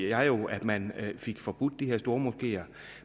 jeg jo at man fik forbudt de her stormoskeer